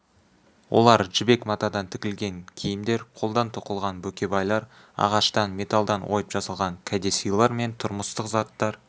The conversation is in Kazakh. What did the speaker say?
олар жібек матадан тігілген киімдер қолдан тоқылған бөкебайлар ағаштан металдан ойып жасалған кәдесыйлар мен тұрмыстық заттар